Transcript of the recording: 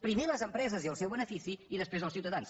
primer les empreses i el seu benefici i després els ciutadans